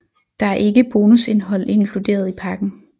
Der er ikke bonusindhold inkluderet i pakken